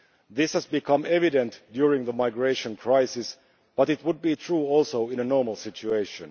This has become evident during the migration crisis, but it would be a true also in a normal situation.